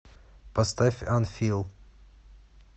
поставь анфилл